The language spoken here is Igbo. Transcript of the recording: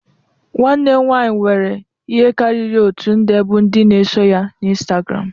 Nwanne m nwanyị nwere ihe karịrị oti nde bụ ndị na-eso ya Instagram